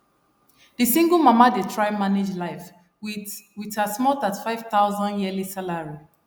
the single mama dey try manage life with with her small 35000 yearly salary